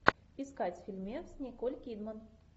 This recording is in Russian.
искать фильмец с николь кидман